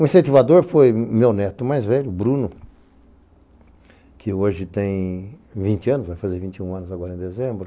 O incentivador foi meu neto mais velho, Bruno, que hoje tem vinte anos anos, vai fazer vinte e um anos agora em dezembro.